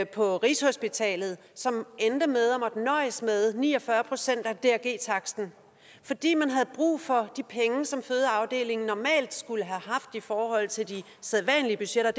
på rigshospitalet som endte med at måtte nøjes med ni og fyrre procent af taksten fordi man havde brug for de penge som fødeafdelingen normalt skulle have haft i forhold til de sædvanlige budgetter